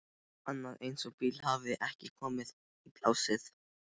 Annar eins bíll hafði ekki komið í plássið.